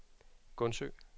Gundsø